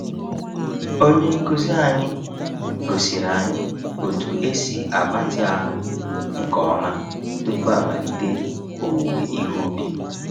Onye nkuzi anyị gosiri anyị otu esi agbatị ahụ nke ọma tupu amalite owuowe ihe ubi.